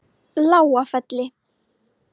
Lágafelli